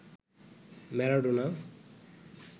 Maradona